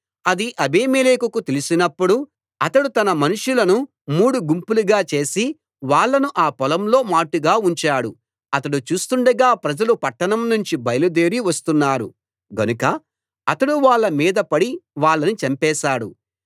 అది అబీమెలెకుకు తెలిసినప్పుడు అతడు తన మనుషులను మూడు గుంపులుగా చేసి వాళ్ళను ఆ పొలంలో మాటుగా ఉంచాడు అతడు చూస్తుండగా ప్రజలు పట్టణం నుంచి బయలుదేరి వస్తున్నారు గనుక అతడు వాళ్ళ మీద పడి వాళ్ళని చంపేశాడు